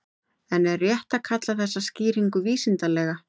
En er rétt að kalla þessa skýringu vísindalega?